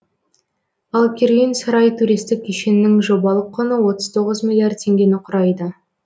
ал керуен сарай туристік кешеннің жобалық құны отыз тоғыз миллиард теңгені құрайды